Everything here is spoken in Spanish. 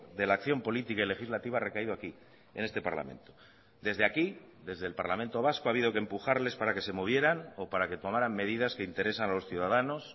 de la acción política y legislativa ha recaído aquí en este parlamento desde aquí desde el parlamento vasco ha habido que empujarles para que se movieran o para que tomarán medidas que interesan a los ciudadanos